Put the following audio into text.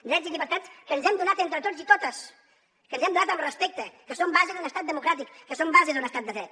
drets i llibertats que ens hem donat entre tots i totes que ens hem donat amb respecte que són base d’un estat democràtic que són base d’un estat de dret